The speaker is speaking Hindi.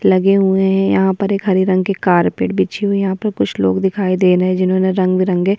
लगे हुए हैं यहाँ पर एक हरी रंग के कारपेट बिछी हुई यहाँ पर कुछ लोग दिखाई दे रहे हैं जिन्होंने रंग बिरंगे --